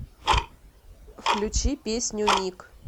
включи песню миг